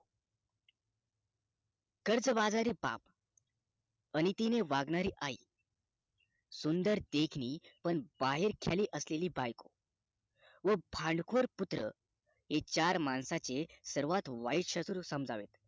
कर्ज बाजरी बाप अनितीने वागणारी आई सुंदर देखणी पण बाहेरचली असणारी बाई व भांडखोर पुत्र हे चार माणसाचे सर्वात वाईट शत्रू समजावे